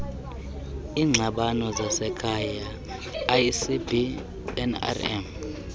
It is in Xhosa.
iingxabano zasekhaya icbnrm